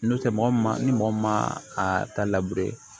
N'o tɛ mɔgɔ ma ni mɔgɔ min ma a ta